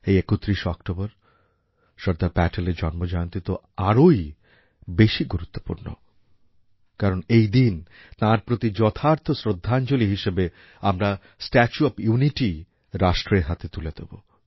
এই ৩১ অক্টোবর সর্দার প্যাটেলের জন্মজয়ন্তী তো আরোই বেশি গুরুত্বপূর্ণ কারণ এই দিন তাঁর প্রতি যথার্থ শ্রদ্ধাঞ্জলি হিসেবে আমরা স্ট্যাচু অব ইউনিটি রাষ্ট্রের হাতে তুলে দেব